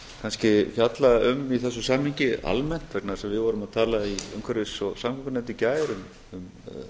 kannski fjalla um í þessu samhengi almennt vegna þess að við vorum að tala í umhverfis og samgöngunefnd í gær um